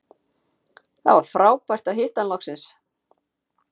Það var frábært að hitta hann loksins